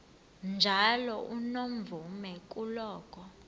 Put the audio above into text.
njalo unomvume kuloko